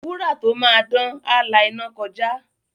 Wúrà tó máa dán, á la iná kọjá.